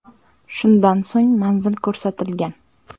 Shundan so‘ng manzil ko‘rsatilgan.